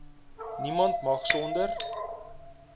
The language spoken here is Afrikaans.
niemand mag sonder